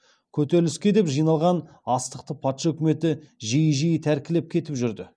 көтеріліске деп жиналған астықты патша үкіметі жиі жиі тәркілеп кетіп жүрді